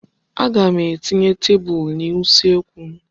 Aga m etinye tebụl n'usekwu m.